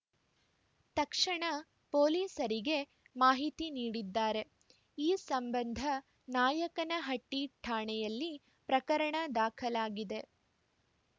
ತಕ್ಷಣ ಪೊಲೀಸರಿಗೆ ಮಾಹಿತಿ ನೀಡಿದ್ದಾರೆ ಈ ಸಂಬಂಧ ನಾಯಕನಹಟ್ಟಿಠಾಣೆಯಲ್ಲಿ ಪ್ರಕರಣ ದಾಖಲಾಗಿದೆ